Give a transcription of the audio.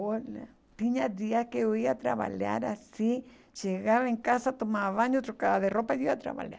Olha, tinha dias que eu ia trabalhar assim, chegava em casa, tomava banho, trocava de roupa e ia trabalhar.